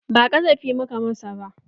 Ba ƙazafi muka masa ba.